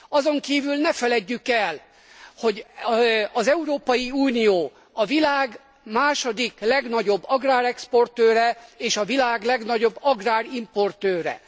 Azonkívül ne feledjük el, az Európai Unió a világ második legnagyobb agrárexportőre és a világ legnagyobb agrárimportőre.